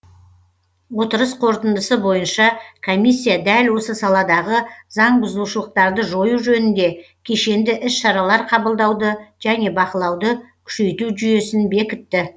отырыс қорытындысы бойынша комиссия дәл осы саладағы заңбұзушылықтарды жою жөнінде кешенді іс шаралар қабылдауды және бақылауды күшейту жүйесін бекітті